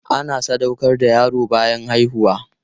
Ana sadaukar da yaro bayan haihuwa.